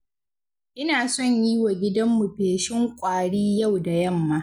Ina son yi wa gidanmu feshin ƙwari yau da yamma.